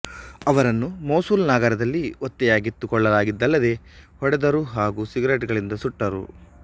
ಅವರನ್ನು ಮೊಸುಲ್ ನಗರದಲ್ಲಿ ಒತ್ತೆಯಾಗಿತ್ತು ಕೊಳ್ಳಲಾಗಿದ್ದಲ್ಲದೇ ಹೊಡೆದರು ಹಾಗೂ ಸಿಗರೇಟುಗಳಿಂದ ಸುಟ್ಟರು